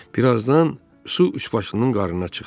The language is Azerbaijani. Bir azdan su üçbaşlının qarına çıxdı.